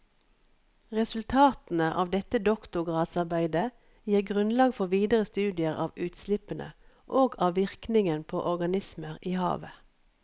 Resultatene av dette doktorgradsarbeidet gir grunnlag for videre studier av utslippene og av virkningen på organismer i havet.